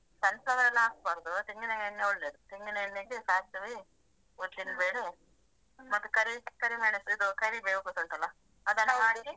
Sun flower ಎಲ್ಲ ಹಾಕ್ಬಾರ್ದು ತೆಂಗಿನ ಎಣ್ಣೆ ಒಳ್ಳೇದು ತೆಂಗಿನ ಎಣ್ಣೆಗೆ ಸಾಸಿವೆ, ಉದ್ದಿನ್ ಬೇಳೆ ಮತ್ತೆ ಕರಿ ಕರಿ ಮೆಣಸು ಇದು ಕರಿಬೇವು ಗೊತ್ತುಂಟಲ್ಲ ಹಾಕಿ.